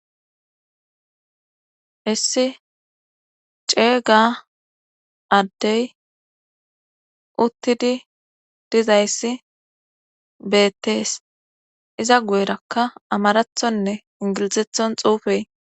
issi ceega addey uttidi dizayssi beettees iza gu7erakka amarathonne ingilizethon xuufey